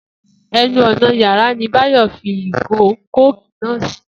E̩nu ò̩nà yàrá ni Báyò̩ fi ìgò kóòkì náà sí